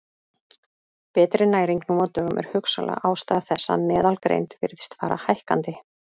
Betri næring nú á dögum er hugsanleg ástæða þess að meðalgreind virðist fara hækkandi.